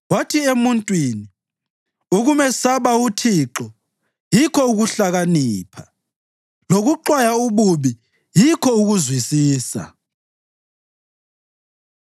Wathi emuntwini, “Ukumesaba uThixo yikho ukuhlakanipha, lokuxwaya ububi yikho ukuzwisisa.”